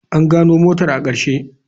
An gano motar a ƙarshe.